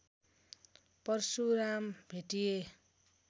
Parshuram भेटिए